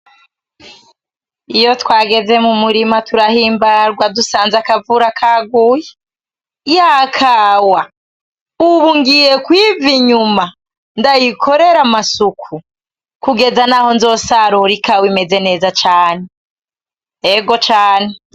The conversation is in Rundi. Iyo twageze mu murima turahimbarwa dusanze akavura kaguye , ya kawa ubu ngiye kwiva inyuma ndayikorere amasuku kugeza naho nzosarura ikawa imeze neza cane, ego cane.